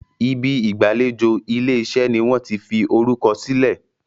Ibi ìgbàlejò ilé-iṣẹ́ ní wón tí fí orukọ silẹ.